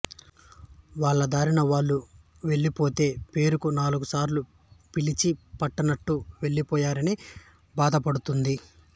వాళ్లదారిన వాళ్లు వెళ్ళిపోతే పేరుకు నాలుగుసార్లు పిలిచి పట్టనట్టు వెళ్ళిపోయారనీ బాధపడతుంది